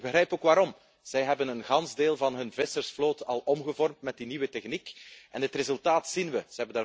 Ik begrijp ook waarom zij hebben een groot deel van hun vissersvloot al omgevormd met die nieuwe techniek en het resultaat zien we.